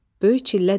Böyük çillə dedi: